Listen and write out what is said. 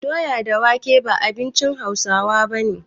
Doya da wake ba abinci Hausawa bane